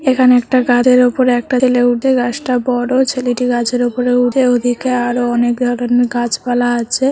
এখানে একটা কাজের উপর একটা দিলে ঊর্ধ্বে গাছটা বড় ছেলেটি গাছের উপরে উঠে ওদিকে আরো অনেক গাছপালা আছে।